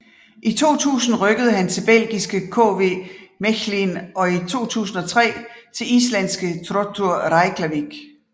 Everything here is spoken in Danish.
I 2000 rykkede han til belgiske KV Mechelen og i 2003 til islandske Throttur Reykjavik